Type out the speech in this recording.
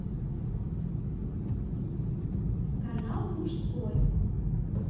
канал мужской